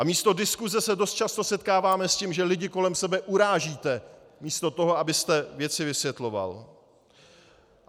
A místo diskuse se dost často setkáváme s tím, že lidi kolem sebe urážíte místo toho, abyste věci vysvětloval.